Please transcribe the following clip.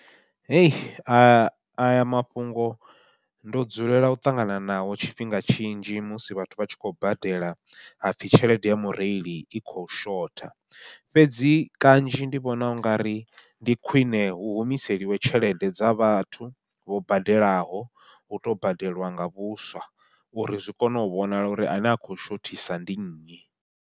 A aya mafhungo ndo dzulela u ṱangana naho tshifhinga tshinzhi musi vhathu vha tshi khou badela hapfhi tshelede ya mureili i kho shotha, fhedzi kannzhi ndi vhona ungari ndi khwiṋe hu humiseliwe tshelede dza vhathu vho badelaho, hu to badeliwa nga vhuswa uri zwi kone u vhonala uri ane a khou shothisa ndi nnyi.